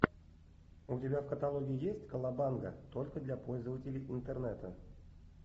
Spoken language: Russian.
у тебя в каталоге есть колобанга только для пользователей интернета